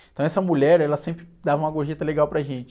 Então essa mulher, ela sempre dava uma gorjeta legal para gente.